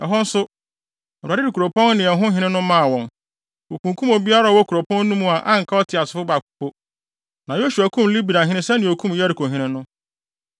Ɛhɔ nso, Awurade de kuropɔn no ne ɛhɔ hene no maa wɔn. Wokunkum obiara a ɔwɔ kuropɔn no mu a anka ɔteasefo baako po. Na Yosua kum Libnahene sɛnea okum Yerikohene no.